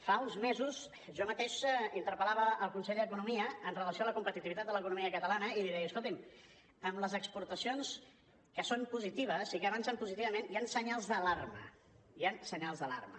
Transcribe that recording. fa uns mesos jo mateix interpel·lava el conseller d’economia amb relació a la competitivitat de l’economia catalana i li deia escolti’m amb les exportacions que són positives i que avancen positivament hi han senyals d’alarma hi han senyals d’alarma